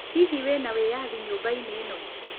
Hihi wĩna wĩyathi nyũmba-inĩ ĩno?